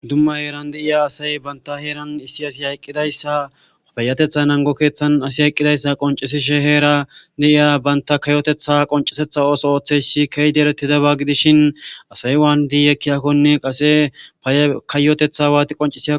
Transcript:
dumma heeran deiya asay banta heeran issi asi hayqqidayssa payatetha nango keeththan asi hayqqidayssa qoncesishe heera deiya banta kayotetha qoncesetha ooso ooththeysi keydieretidaba gidishin asay waan diiyekkiyakkonne qase paykayotetha waati qonci